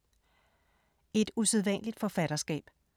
Et usædvanligt forfatterskab